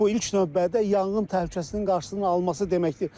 Bu ilk növbədə yanğın təhlükəsinin qarşısının alınması deməkdir.